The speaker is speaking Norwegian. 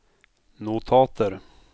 notater